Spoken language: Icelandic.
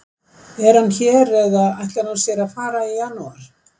Er hann hér eða ætlar hann sér að fara í janúar?